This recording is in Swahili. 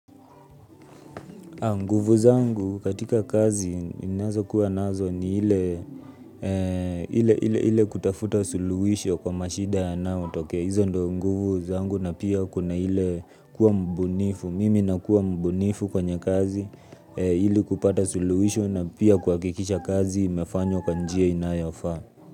Nguvu zangu katika kazi inazo kuwa nazo ni ile kutafuta suluhisho kwa mashida ya nao tokea. Hizo ndo nguvu zangu na pia kuna ile kuwa mbunifu. Mimi na kuwa mbunifu kwenye kazi ili kupata suluhisho na pia kwakikisha kazi imefanywa kwa njia inayafaa.